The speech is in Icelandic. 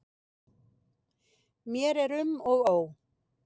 Mér er um og ó.